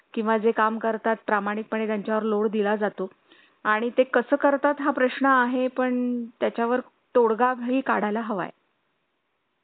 किंवा जे काम करतात प्रामाणिक पणे त्यांच्या वर load दिला जातो आणि ते कसं करतात हा प्रश्न आहे पण त्याच्या वर तोडगा ही काढला हवा आहे